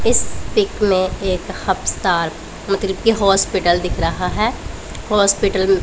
इस पिक में एक हपस्ताल मतलब की हॉस्पिटल दिख रहा है हॉस्पिटल म--